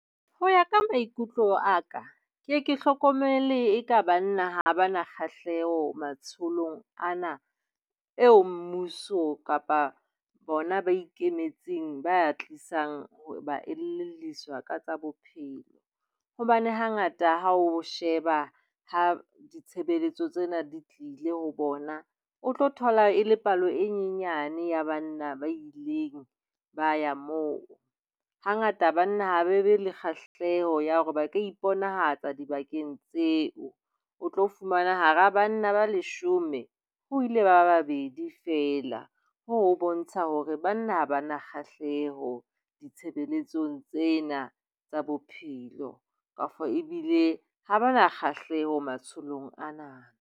Ho ya ka maikutlo a ka ne ke hlokomele eka banna ha ba na kgahleho matsholong ana eo mmuso kapa bona ba ikemetseng ba a tlisang hore ba elelliswa ka tsa bophelo. Hobane hangata ha o sheba ha ditshebeletso tsena di tlile ho bona, o tlo thola e le palo e nyenyane ya banna ba ileng ba ya moo. Hangata banna ha ba be le kgahleho ya hore ba ka iponahatsa dibakeng tseo, o tlo fumana hara banna ba leshome ho ile ba babedi feela, ho bontsha hore banna ha ba na kgahleho ditshebeletsong tsena tsa bophelo kapa ebile ha ba na kgahleho matsholong ana.